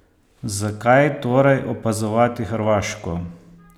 Zakaj torej opazovati Hrvaško?